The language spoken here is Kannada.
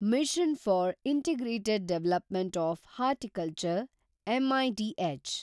mission for integrated development of horticulture (mid)